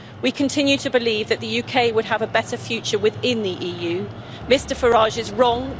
We continue to believe that the UK would have a better future within the EU. Mr Farage is wrong.